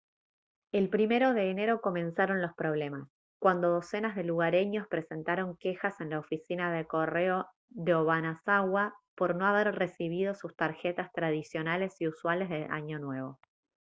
el 1 de enero comenzaron los problemas cuando docenas de lugareños presentaron quejas en la oficina de correo de obanazawa por no haber recibido sus tarjetas tradicionales y usuales de año nuevo